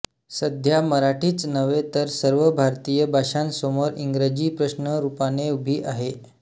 सध्या मराठीच नव्हे तर सर्व भारतीय भाषांसमोर इंग्रजी प्रश्नरूपाने उभी आहे